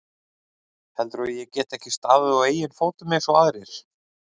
Heldurðu að ég geti ekki staðið á eigin fótum eins og aðrir?